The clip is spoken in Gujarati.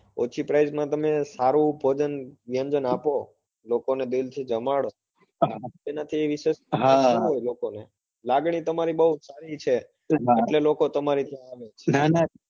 ઓછી price માં તમે સારું ભોજન વ્યંજન આપો લોકો ને પ્રેમ થી જમાડો એના થી વિશેષ શું હોય લોકો ને લાગણી તમારી બઉ સારી છે એટલે લોકો તમારે ત્યાં આવે છે.